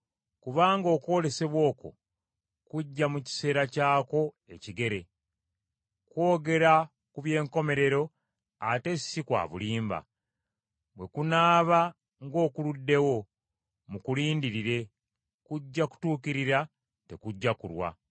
Kubanga okwolesebwa okwo kujja mu kiseera kyakwo ekigere. Kwogera ku by’enkomerero ate si kwa bulimba. Bwe kunaaba ng’okuluddewo, mukulindirire, kujja kutuukirira, tekugya kulwa.